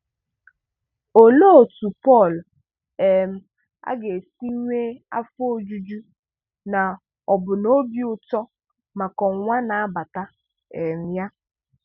Olee otú Paul um aga esi enwe afọ ojuju na ọbụna obi ụtọ maka Ọnwụnwa na abata um ya?